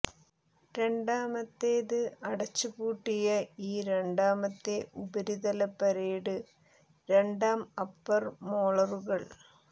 രണ്ടാമത്തേത് അടച്ചുപൂട്ടിയ ഈ രണ്ടാമത്തെ ഉപരിതല പരേഡ് രണ്ടാം അപ്പർ മോളറുകൾ